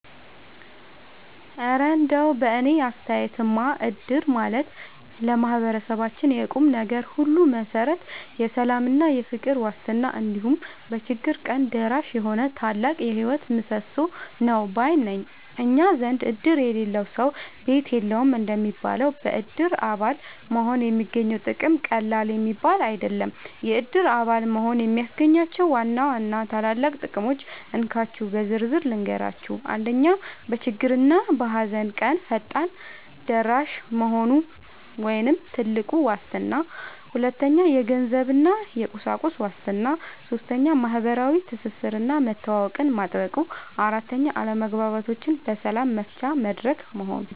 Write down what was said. እረ እንደው በእኔ አስተያየትማ እድር ማለት ለማህበረሰባችን የቁምነገር ሁሉ መሠረት፣ የሰላምና የፍቅር ዋስትና፣ እንዲሁም በችግር ቀን ደራሽ የሆነ ታላቅ የህይወት ምሰሶ ነው ባይ ነኝ! እኛ ዘንድ "እድር የሌለው ሰው ቤት የለውም" እንደሚባለው፣ በእድር አባል መሆን የሚገኘው ጥቅም ቀላል የሚባል አይደለም። የእድር አባል መሆን የሚያስገኛቸውን ዋና ዋና ታላላቅ ጥቅሞች እንካችሁ በዝርዝር ልንገራችሁ፦ 1. በችግርና በሃዘን ቀን ፈጣን ደራሽ መሆኑ (ትልቁ ዋስትና) 2. የገንዘብና የቁሳቁስ ዋስትና 3. ማህበራዊ ትስስርና መተዋወቅን ማጥበቁ 4. አለመግባባቶችን በሰላም መፍቻ መድረክ መሆኑ